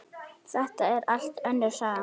Þetta er allt önnur saga!